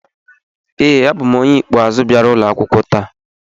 ee, abụ m onye ikpeazụ bịara ụlọ akwụkwọ taa